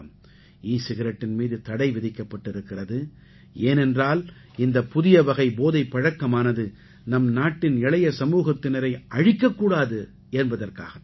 ஈ சிகரெட்டின் மீது தடை விதிக்கப்பட்டிருக்கிறது ஏனென்றால் இந்தப் புதியவகை போதைப் பழக்கமானது நம் நாட்டின் இளைய சமூகத்தினரை அழிக்கக் கூடாது என்பதற்காகத் தான்